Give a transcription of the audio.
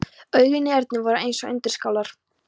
Augun í Erni voru eins og undirskálar.